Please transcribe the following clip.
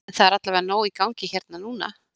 En það er allavega nóg í gangi hérna núna?